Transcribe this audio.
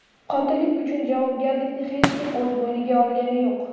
Qotillik uchun javobgarlikni hech kim o‘z bo‘yniga olgani yo‘q.